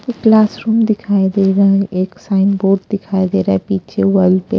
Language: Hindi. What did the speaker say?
एक क्लासरूम दिखाई दे रहा हैं। एक साइनबोर्ड दिखाई दे रहा हैं पिछे वॉल पे --